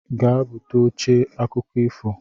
Gaa-ebute oche akụkọ ifo